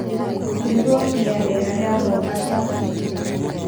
Riboti ya rĩera rĩa Mombasa